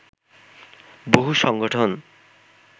বহু সংগঠন